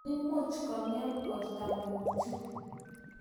Imuch kong'em portang'ung' chu.